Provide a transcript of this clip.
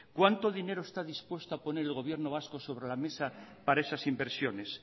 cuánto dinero está dispuesto a poner el gobierno vasco sobre la mesa para esas inversiones